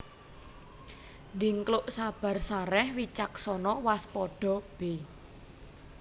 Dhingkluk sabar sarèh wicaksana waspada b